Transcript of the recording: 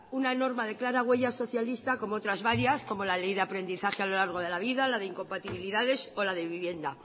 una norma de clara huella socialista como otras varias como la ley de aprendizaje a lo largo de la vida la de incompatibilidades o la de vivienda